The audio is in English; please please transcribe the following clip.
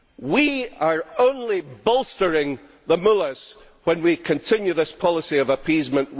We are only bolstering the Mullahs when we continue this policy of appeasement.